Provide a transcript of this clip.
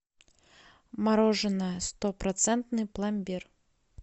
мороженое сто процентный пломбир